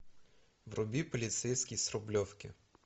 вруби полицейский с рублевки